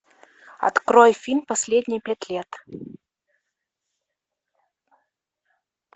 открой фильм последние пять лет